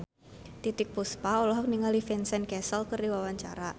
Titiek Puspa olohok ningali Vincent Cassel keur diwawancara